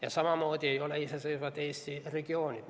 Ja samamoodi ei ole iseseisvad Eesti regioonid.